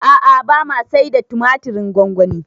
A'a bama saida tumatirin gwangwani